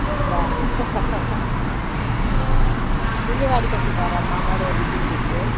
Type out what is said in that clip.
ಹೌದಾ ತಿಂಡಿ ಮಾಡಿ ಕೊಟ್ಟಿದ್ದಾರ ಅಮ್ಮಾ ಮಳೆಯಲ್ಲಿ ತಿನ್ಲಿಕ್ಕೆ?